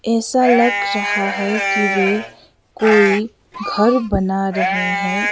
ऐसा लग रहा है की वे कोई घर बना रहे हैं।